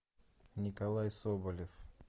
николай соболев